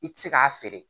I ti se k'a feere